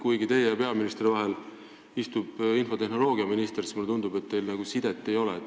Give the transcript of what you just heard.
Kuigi teie ja peaministri vahel istub infotehnoloogiaminister, tundub mulle, et teil omavahelist sidet ei ole.